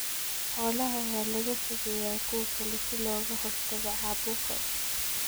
Xoolaha waa laga fogeeyaa kuwa kale si looga hortago caabuqa.